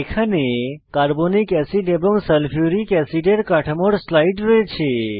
এখানে carbonic acid এবং sulphuric অ্যাসিডের কাঠামোর স্লাইড রয়েছে